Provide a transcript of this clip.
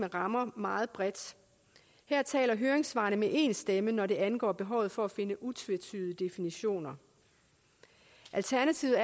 rammer meget bredt her taler høringssvarene med én stemme hvad angår behovet for at finde utvetydige definitioner alternativet